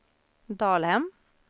Dalhem